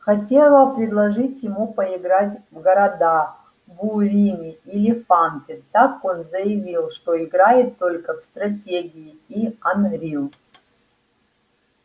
хотела предложить ему поиграть в города буриме или фанты так он заявил что играет только в стратегии и анрил